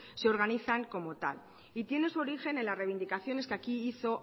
se organizan como tal y tienen su origen en la reivindicaciones que aquí hizo